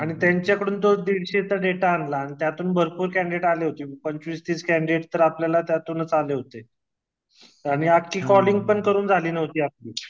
आणि त्यांच्या कडून तो दीडशेच्या डेटा आणला आणि त्यातून भरपूर कॅन्डीडट आले होते पंचवीस तीस कॅण्डीडेट तर आपल्याला त्यातूनच आले होते आणि अक्खी कलिंग पण करून झाली नव्हती आपली